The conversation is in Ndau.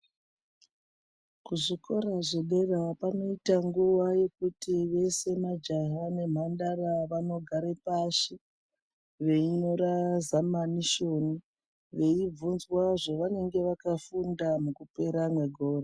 Kuzvikora zvedera panoita nguva yekuti vese majaha nemhandara vanogara pashi veinyora zamanisheni veivhunzwa zvavanenge vakafunda mukupera mwegore.